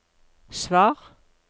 svar